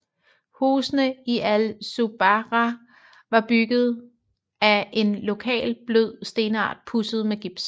Husene i Al Zubarah var bygget a en lokal blød stenart pudset med gips